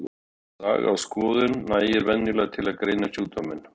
Saga og skoðun nægir venjulega til að greina sjúkdóminn.